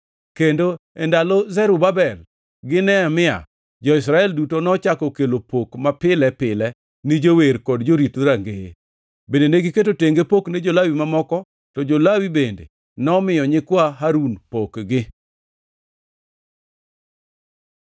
Kendo e ndalo Zerubabel gi Nehemia, jo-Israel duto nochako kelo pok mapile pile ni jower kod jorit dhorangeye. Bende negiketo tenge pok ni jo-Lawi mamoko, to jo-Lawi bende nomiyo nyikwa Harun pokgi.